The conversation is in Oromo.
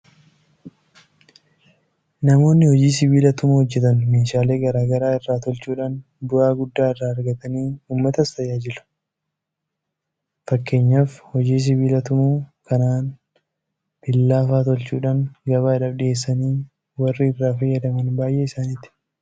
Namoonni hojii Sibiila tumuu hojjetan meeshaalee garaa garaa irraa tolchuudhaan bu'aa guddaa irraa argatanii uummatas tajaajiluu danda'aniiru. Fakkeenyaaf hojii sibiila tumuu kanaan Billaa fa'aa tolchuudhaan gabaadhaaf dhiyeessanii warri irraa fayyadaman baay'ee isaaniiti.